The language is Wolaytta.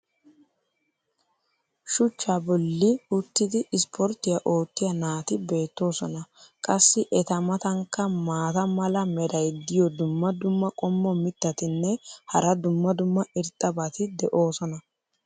shuchchaa boli uttidi ispporttiya oottiya naati beetoosona. qassi eta matankka maata mala meray diyo dumma dumma qommo mitattinne hara dumma dumma irxxabati de'oosona.